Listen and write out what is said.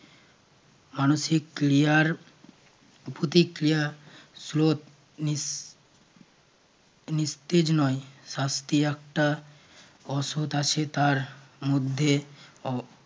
মানসিক ক্রিয়ার প্রতিক্রিয়া স্রোত উম মুক্তির নয় শাস্তি একটা অসৎ আছে তার মধ্যেও।